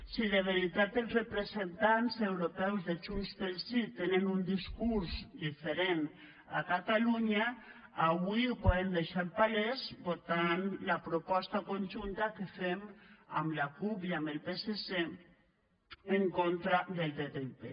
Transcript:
si de veritat els representants europeus de junts pel sí tenen un discurs diferent a catalunya avui ho poden deixar palès votant la proposta conjunta que fem amb la cup i amb el psc en contra del ttip